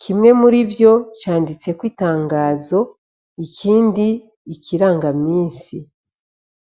kimwe muri vyo canditseko itangazo ikindi ikiranga misi.